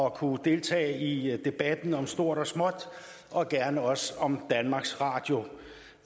at kunne deltage i debatten om stort og småt og gerne også om danmarks radio